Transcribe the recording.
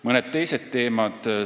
Mõned teised teemad veel.